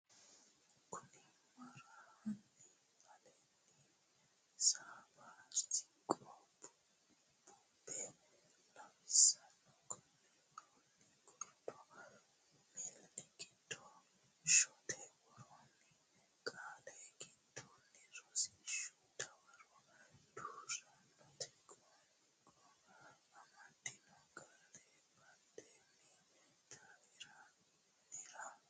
kinna mara Hanni aleenni ini sabba siqqo bubbe lawishshi konni woroonni gordo miila gidda shaete worroonni qaalla giddonni Rosiishshu Dawaro duu rantino qoonqo amaddino qaalla baddine daftari nera borreesse.